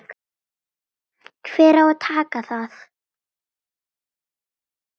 Hver á að taka það?